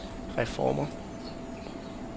reformer